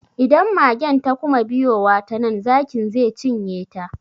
Idan magen ta kuma biyowa ta nan, zakin ze cinye ta.